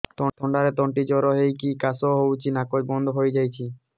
ଥଣ୍ଡାରେ ତଣ୍ଟି ଦରଜ ହେଇକି କାଶ ହଉଚି ନାକ ବନ୍ଦ ହୋଇଯାଉଛି